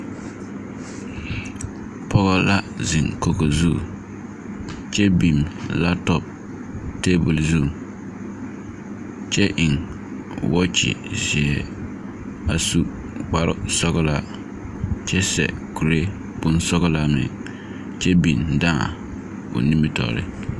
Pͻge la zeŋe kogi zu kyԑ laapotͻpo teebole zu, kyԑ eŋ waaye zeԑ. A su kpare sͻgelaa kyԑ seԑ kuri sͻgelaa meŋ kyԑ dãã o nimitͻͻreŋ.